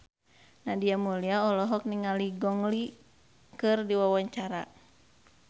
Nadia Mulya olohok ningali Gong Li keur diwawancara